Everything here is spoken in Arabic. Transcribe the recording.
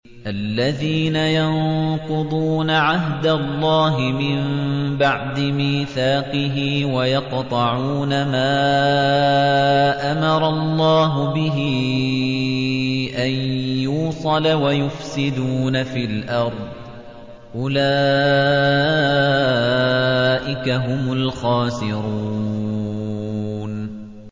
الَّذِينَ يَنقُضُونَ عَهْدَ اللَّهِ مِن بَعْدِ مِيثَاقِهِ وَيَقْطَعُونَ مَا أَمَرَ اللَّهُ بِهِ أَن يُوصَلَ وَيُفْسِدُونَ فِي الْأَرْضِ ۚ أُولَٰئِكَ هُمُ الْخَاسِرُونَ